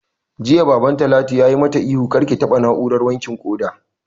Jiya Baban Talatu ya mata ihu 'Kar ki taɓa na'urar wankin ƙoda'!